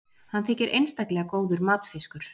hann þykir einstaklega góður matfiskur